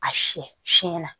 A si siɲɛna